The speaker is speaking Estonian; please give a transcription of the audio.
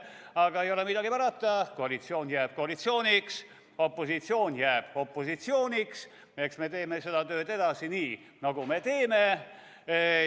Aga ei ole midagi parata, koalitsioon jääb koalitsiooniks, opositsioon jääb opositsiooniks, eks me teeme seda tööd edasi nii, nagu me teeme.